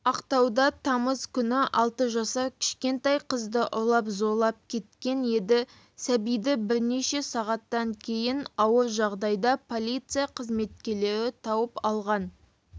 ақтауда тамыз күні алты жасар кішкентай қызды ұрлап зорлап кеткен еді сәбиді бірнеше сағаттан кейін ауыр жағдайда полиция қызметкерлері тауып алған